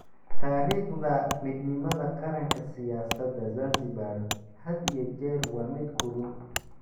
Taariikhda Midnimada Qaranka Siyaasadda Zanzibar had iyo jeer waa mid kulul.